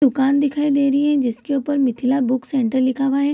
दुकान दिखाई दे रही हैं जिसके ऊपर मिथला बुक सेंटर लिखा हुआ है।